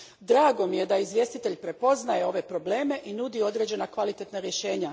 Drago mi je da izvjestitelj prepoznaje ove probleme i nudi određena kvalitetna rješenja.